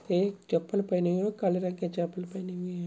एक चप्पल पहने हुए है काले रंग की चप्पल पहनी हुई है।